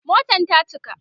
Motan ta cika